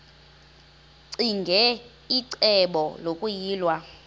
ccinge icebo lokuyilwa